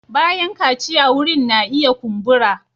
Bayan kaciya wurin na iya kumbura.